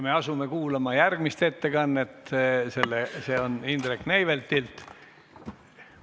Me asume kuulama järgmist ettekannet, see on Indrek Neiveltilt.